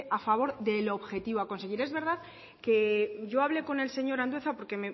a favor del objetivo a conseguir es verdad que yo hablé con el señor andueza porque